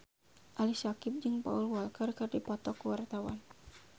Ali Syakieb jeung Paul Walker keur dipoto ku wartawan